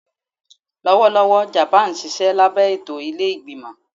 Lọwọlọwọ Japan nṣiṣẹ labẹ eto ile-igbimọ